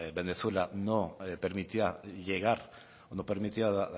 venezuela no permitía llegar o no permitía la